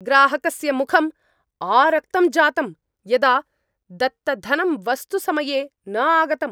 ग्राहकस्य मुखम् आरक्तं जातम् यदा दत्तधनं वस्तु समये न आगतम्।